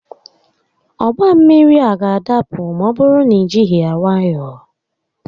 Ọgba mmiri a ga-adapụ ma ọ bụrụ na i jighi ya nwayọọ